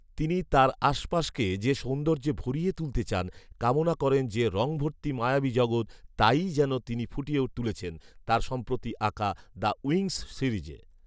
তিনি তাঁর আশপাশকে যে সৌন্দর্যে ভরিয়ে তুলতে চান, কামনা করেন যে রঙভর্তি মায়াবি জগত তাইই যেন তিনি ফুটিয়ে তুলেছেন তার সম্প্রতি আঁকা ‘দ্য উইংস’ সিরিজে